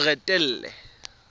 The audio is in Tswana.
moretele